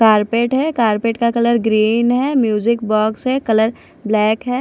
Carpet है carpet का colour green है म्यूजिक बॉक्स है कलर ब्लैक है।